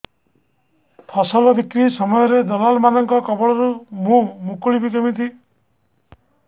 ଫସଲ ବିକ୍ରୀ ସମୟରେ ଦଲାଲ୍ ମାନଙ୍କ କବଳରୁ ମୁଁ ମୁକୁଳିଵି କେମିତି